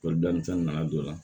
fɛn nana jɔ a la